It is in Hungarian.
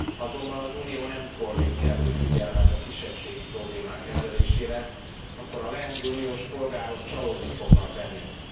Azonban ha az Unió nem fordít kellő figyelmet a kisebbségi problémák kezelésére, akkor a leendő uniós polgárok csalódni fognak bennünk.